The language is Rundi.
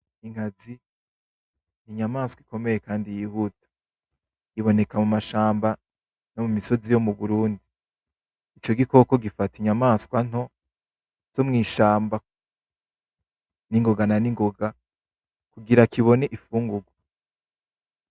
Inkazi ni inyamaswa ikomeye kandi yihuta , iboneka mu mashamba no mu misozi yo mu Burundi , ico gikoko gifata inyamaswa nto zo mw'ishamba ningoga na ningoga , kugira kibone imfungurwa .